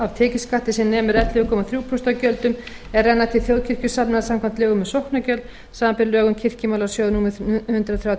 af tekjuskatti sem nemur ellefu komma þrjú prósent af gjöldum er renna til þjóðkirkjusafnaða samkvæmt lögum um sóknargjöld samanber lög um kirkjumálasjóð númer hundrað þrjátíu og